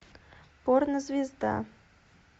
порнозвезда